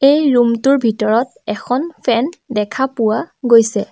এই ৰুমটোৰ ভিতৰত এখন ফেন দেখা পোৱা গৈছে।